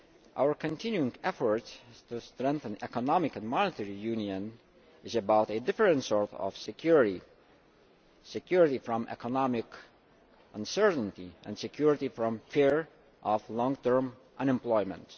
Our continuing effort to strengthen economic and monetary union is about a different sort of security security from economic uncertainty and security from the fear of long term unemployment.